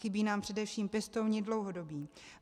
Chybí nám především pěstouni dlouhodobí.